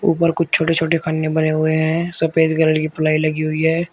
ऊपर कुछ छोटे छोटे खन्ने बने हुए हैं सफेद कलर की प्लाई लगी हुई है।